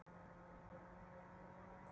Þeir yrðu að taka sig á.